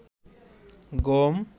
গম